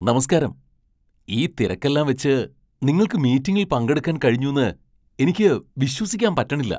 നമസ്കാരം! ഈ തിരക്കെല്ലാം വച്ച് നിങ്ങൾക്ക് മീറ്റിംഗിൽ പങ്കെടുക്കാൻ കഴിഞ്ഞുന്ന് എനിക്ക് വിശ്വസിക്കാൻ പറ്റണില്ല!